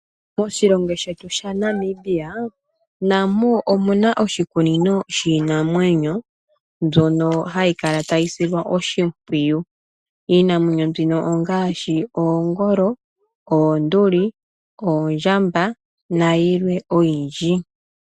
Moshilongo shetu shaNamibia namo omuna oshikunino shiinanwenyo mbyono hayi kala tayi silwa oshimpwiyu. Iinamwenyo mbino ongaashi oonduli, oongolo, oondjamba nayilwe oyindji.